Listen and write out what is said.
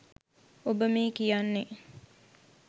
ඔබමේ කියන්නේ